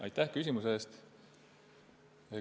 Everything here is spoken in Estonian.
Aitäh küsimuse eest!